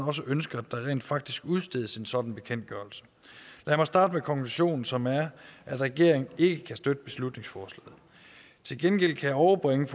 også ønsker at der rent faktisk udstedes en sådan bekendtgørelse lad mig starte med konklusionen som er at regeringen ikke kan støtte beslutningsforslaget til gengæld kan jeg overbringe